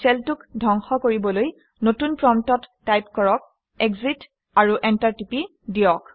shell 2 ক ধ্বংস কৰিবলৈ নতুন প্ৰম্পটত টাইপ কৰক - এক্সিট আৰু এণ্টাৰ টিপি দিয়ক